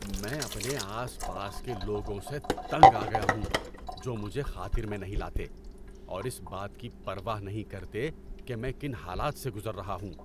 میں اپنے آس پاس کے لوگوں سے تنگ آ گیا ہوں جو مجھے خاطر میں نہیں لاتے اور اس بات کی پرواہ نہیں کرتے کہ میں کن حالات سے گزر رہا ہوں۔